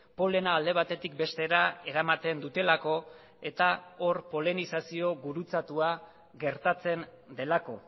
polena alde batetik bestera eramaten dutelako eta hor polenizazio gurutzatua gertatzen delako